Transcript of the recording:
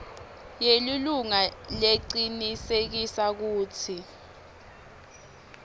yelilunga lecinisekisa kutsi